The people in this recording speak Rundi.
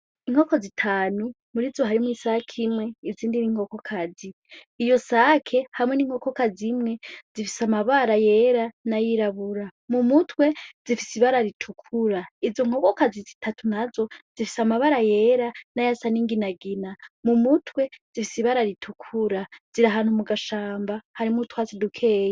Inkoko zitanu muri zo harimwo isake imwe izindi n'inkokokazi iyo sake hamwe n'inkokoka zimwe zifise amabara yera na yirabura mu mutwe zifise ibara ritukura izo nkokokazi zitatu na zo zifise amabara yera n'aya sa n'inginagina mu mutwe zifise ibara ritukura zi ano mu gashamba harimwo twatsi dukeyi.